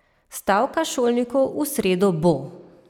Stavka šolnikov v sredo bo!